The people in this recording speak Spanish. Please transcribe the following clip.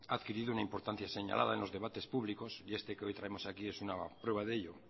ha adquirido una importancia señalada en los debates públicos y este que hoy tenemos aquí es una prueba de ello